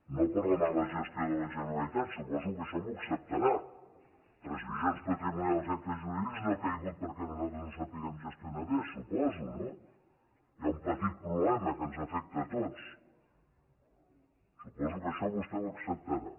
no per la mala gestió de la generalitat suposo que això m’ho acceptarà transmissions i actes jurídics no ha caigut perquè nosaltres no sapiguem gestionar bé suposo no hi ha un petit problema que ens afecta a tots suposo que això vostè ho acceptarà